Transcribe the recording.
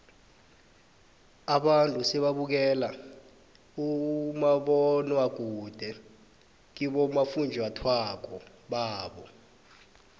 abantu sebabukela umabonwakude kibofunjathwako babo